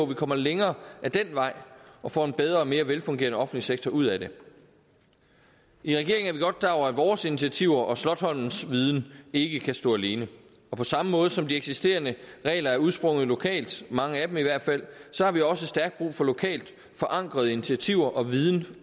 vi kommer længere ad den vej og får en bedre og mere velfungerende offentlig sektor ud af det i regeringen er vi godt klar over at vores initiativer og slotsholmens viden ikke kan stå alene og på samme måde som de eksisterende regler er udsprunget lokalt mange af dem i hvert fald så har vi også stærkt brug for lokalt forankrede initiativer og viden